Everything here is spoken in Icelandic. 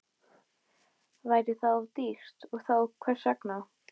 Væri það of dýrt og þá hvers vegna?